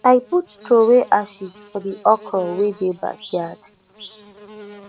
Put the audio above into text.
i put throway ashes for the okro wey dey backyard